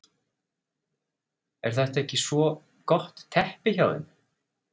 Er þetta ekki svo gott teppi hjá þeim?